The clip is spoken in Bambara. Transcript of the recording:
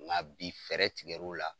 Nga bi fɛɛrɛ tigɛ l'o la.